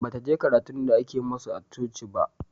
Bataje karatun da ake masu a coci ba